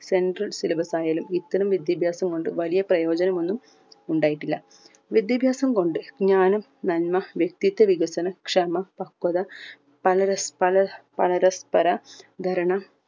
central syllabus ആയാലും ഇത്തരം വിദ്യാഭ്യാസം കൊണ്ട് വലിയ പ്രയോജനം ഒന്നും ഉണ്ടായിട്ടില്ല വിദ്യാഭ്യാസം കൊണ്ട് ജ്ഞാനം നന്മ വക്തിത്വ വികസനം ക്ഷമ പക്ക്വത പല രസ് പലർ പരസ്‌പര ധരണ